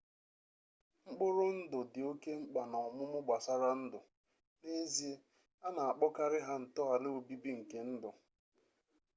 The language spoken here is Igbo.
mkpụrụ ndụ dị oke mkpa na ọmụmụ gbasara ndụ n'ezie a na-akpọkarị ha ntọala obibi nke ndụ